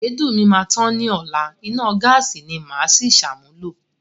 Èédú mi máa tán ni ọla, iná gáàsí ni màá si ṣàmúlò.